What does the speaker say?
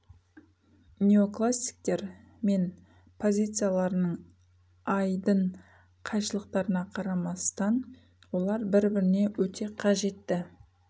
неоклассиктер мен позицияларының айдын қайшылықтарына қарамастан олар бір біріне өте қажетті